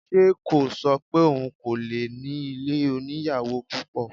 Ṣe kò ṣọ pé òun kò lè ní ilé oníyàwò púpọ̀?